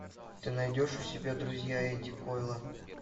ты найдешь у себя друзья эдди койла